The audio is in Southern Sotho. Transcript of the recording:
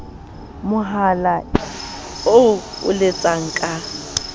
mohala eo o letsang ka